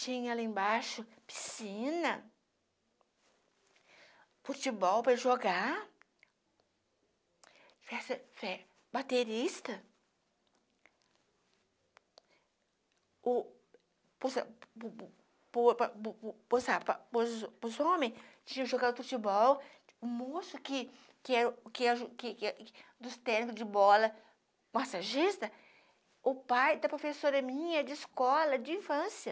Tinha lá embaixo piscina, futebol para jogar, baterista, o tinha jogado futebol, o moço que que era que era que que dos técnico de bola, massagista, o pai da professora minha de escola, de infância.